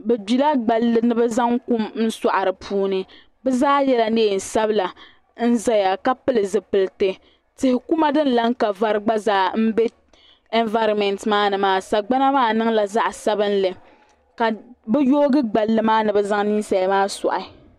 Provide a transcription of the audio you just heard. Bɛ gbila gballi ni bɛ zaŋ kum sɔɣi di puuni bɛ zaa yɛla neen sabila n zaya ka pili zipilti tihi kuma din lan ka vari gba zaa m be envaaromɛnti maa ni maa sagbana maa niŋla zaɣ sabinli ka bɛ yoogi gballi maa ni bɛ zaŋ ninsali maa sɔɣi.